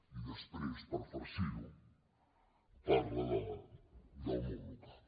i després per farcirho parla del món local